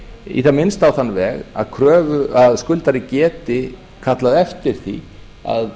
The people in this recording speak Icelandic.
í það minnsta á þann veg að skuldari geti kallað eftir því að